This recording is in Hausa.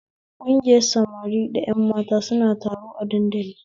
Kungiyar samari da ƴan mata suna taro a dandali